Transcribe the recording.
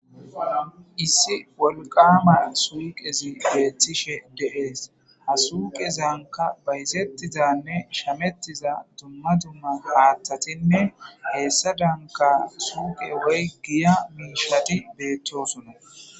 issi wolqama suuqezi beettishe deees ha suuqezanka bayzettizanne shamettiza dumma dumma haattatinne heessa danka suuqe woy giya miishati beettosunna